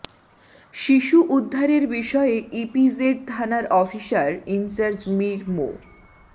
শিশু উদ্ধারের বিষয়ে ইপিজেড থানার অফিসার ইনচার্জ মীর মো